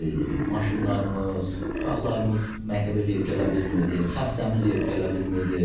Maşınlarımız, uşaqlarımız məktəbə gedib gələ bilmirdi, xəstəmiz gedib gələ bilmirdi.